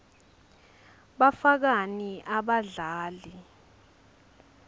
bafakani abadlali